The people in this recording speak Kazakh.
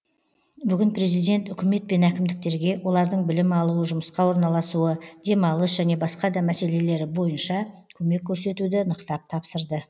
бүгін президент үкімет пен әкімдіктерге олардың білім алуы жұмысқа орналасуы демалыс және басқа да мәселелері бойынша көмек көрсетуді нықтап тапсырды